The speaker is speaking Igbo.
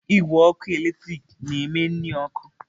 Igwe ọkụ eletrik na-eme nri ọkụ.